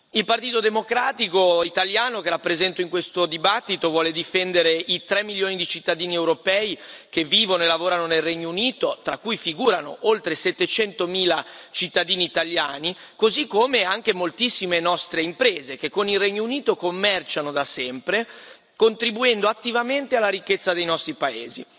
Il Partito Democratico italiano, che rappresento in questo dibattito, vuole difendere i 3 milioni di cittadini europei che vivono e lavorano nel Regno Unito, tra cui figurano oltre 700 mila cittadini italiani, così come anche moltissime nostre imprese che con il Regno Unito commerciano da sempre, contribuendo attivamente alla ricchezza dei nostri paesi.